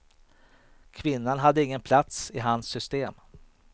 Kvinnan hade ingen plats i hans system.